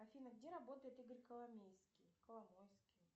афина где работает игорь коломейский коломойский